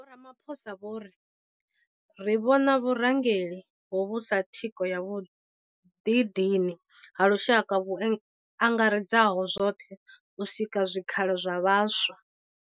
Vho Ramaphosa vho ri. Ri vhona vhurangeli hovhu sa thikho ya vhuḓidini ha lushaka vhu angaredzaho zwoṱhe u sika zwikhala zwa vhaswa.